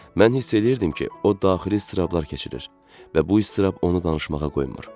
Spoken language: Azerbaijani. Mən hiss eləyirdim ki, o daxili əzablar keçirir və bu əzab onu danışmağa qoymur.